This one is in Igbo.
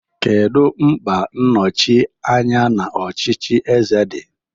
Kedu mkpa nnochi anya n'ọchịchị eze di?